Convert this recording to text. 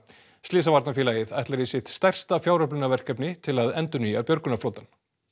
slysavarnarfélagið ætlar í sitt stærsta fjáröflunarverkefni til að endurnýja björgunarflotann